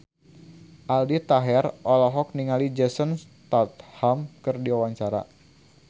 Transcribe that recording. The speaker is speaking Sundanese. Aldi Taher olohok ningali Jason Statham keur diwawancara